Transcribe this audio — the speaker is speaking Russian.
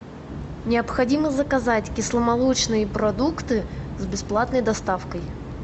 необходимо заказать кисломолочные продукты с бесплатной доставкой